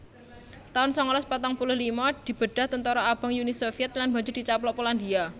taun sangalas patang puluh lima Dibedhah Tentara Abang Uni Sovyèt lan banjur dicaplok Polandia